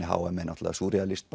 h m er náttúrulega súrrealískt